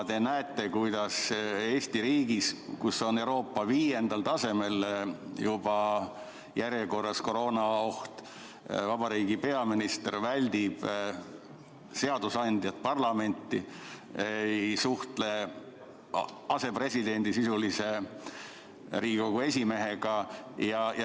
Te näete, kuidas Eesti riigis, kus koroonaoht on juba Euroopa viiendal tasemel, vabariigi peaminister väldib seadusandjat, parlamenti, ei suhtle Riigikogu esimehega, kes on sisuliselt riigi asepresident.